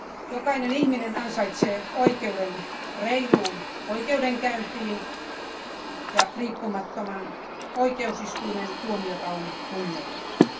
Jokainen ihminen ansaitsee oikeuden reiluun oikeudenkäyntiin, ja riippumattoman oikeusistuimen tuomiota on kunnioitettava.